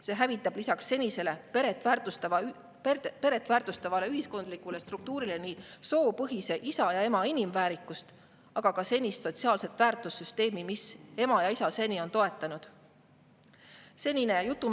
See hävitab lisaks senisele, peret väärtustavale ühiskondlikule struktuurile nii soopõhise isa ja ema inimväärikust kui ka senist sotsiaalset väärtussüsteemi, mis ema ja isa seni on toetanud.